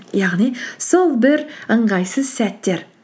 яғни сол бір ыңғайсыз сәттер